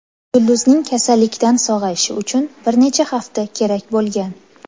Yulduzning kasallikdan sog‘ayishi uchun bir necha hafta kerak bo‘lgan.